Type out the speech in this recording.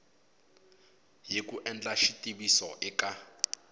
hi ku endla xitiviso eka